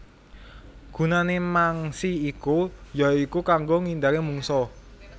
Gunané mangsi iku ya iku kanggo nghindari mungsuh